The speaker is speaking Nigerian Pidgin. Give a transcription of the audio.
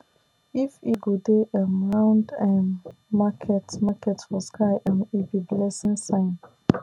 if eagle dey um round um market market for sky um e be blessing sign